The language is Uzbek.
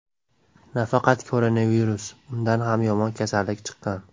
Nafaqat koronavirus, undan ham yomon kasallik chiqqan.